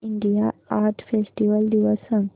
India art festival दिवस सांग